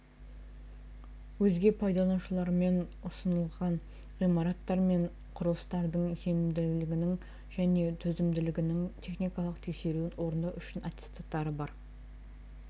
өзге пайдаланушымен ұсынылған ғимараттар мен құрылыстардың сенімділігінің және төзімділігінің техникалық тексеруін орындау үшін аттестаты бар